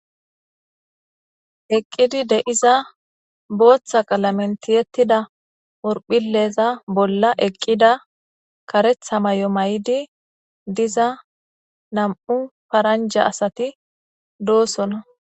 Eqqidi de7iza booththa qalamentiyettida orphileeza bolla eqqida karetha may7o may7di diza nam7u paranja asati doosona